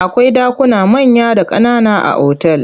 Akwai ɗakuna manya da ƙanana a otal.